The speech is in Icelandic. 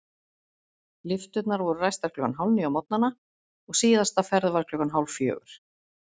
Lyfturnar voru ræstar klukkan hálfníu á morgnana og síðasta ferð var klukkan hálffjögur.